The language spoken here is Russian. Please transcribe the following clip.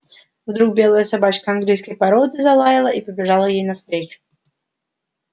вдруг белая собачка английской породы залаяла и побежала ей навстречу